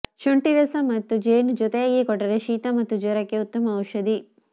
ಶುಂಟಿ ರಸ ಮತ್ತು ಜೇನು ಜೊತೆಯಾಗಿ ಕೊಟ್ಟರೆ ಶೀತ ಮತ್ತು ಜ್ವರಕ್ಕೆ ಉತ್ತಮ ಔಷಧಿ